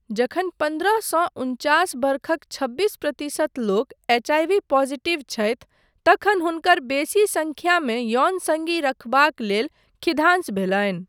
जखन पन्द्रह सँ उनचास बरखक छब्बीस प्रतिशत लोक एचआईवी पॉजिटिव छथि, तखन हुनकर बेसी सङ्ख्यामे यौन सङ्गी रखबाक लेल खिधांस भेलनि।